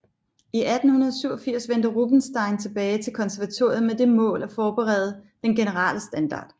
I 1887 vendte Rubinstein tilbage til konservatoriet med det mål at forbedre den generelle standard